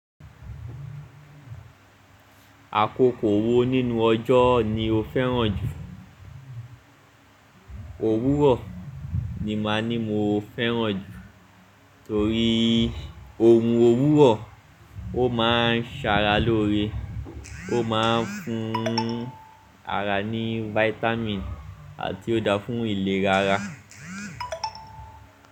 Àkókò wo nínú ọjọ́ ni o fẹ́ràn jù? Òwúrọ̀ ni màá ní mo fẹ́ràn torí orun òwúrọ̀, ó máa ń ṣara lóore, ó máa ń fún ara ní vitamin àti ó dáa fún ìlera ara.